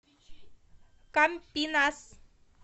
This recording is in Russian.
кампинас